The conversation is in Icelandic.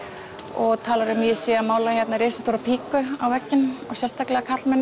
og talar um að ég sé að mála hérna risastóra á vegginn og sérstaklega karlmenn